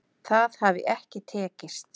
Það hafi ekki tekist